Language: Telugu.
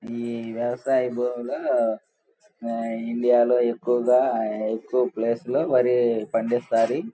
ఈ వ్యవసాయ భూములో ఇండియాలో ఎక్కువుగా ఎక్కువ ప్లేస్ లో వరి పండిస్తాది.